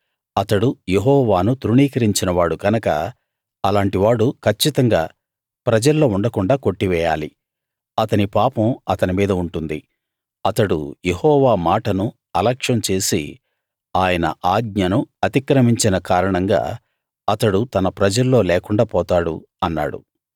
అతడు యెహోవాను తృణీకరించిన వాడు గనక అలాంటి వాడు కచ్చితంగా ప్రజల్లో ఉండకుండాా కొట్టివేయాలి అతని పాపం అతని మీద ఉంటుంది అతడు యెహోవా మాటను అలక్ష్యం చేసి ఆయన ఆజ్ఞను అతిక్రమించిన కారణంగా అతడు తన ప్రజల్లో లేకుండా పోతాడు అన్నాడు